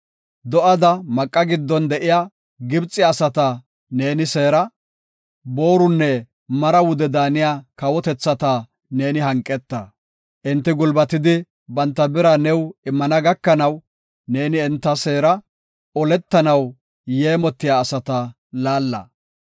Do7ada maqa giddon de7iya Gibxe asata neeni seera; boorunne mara wude daaniya kawotethata ne hanqeta. Enti gulbatidi, banta bira new immana gakanaw, neeni enta seera; oletanaw yeemotiya asata laalla.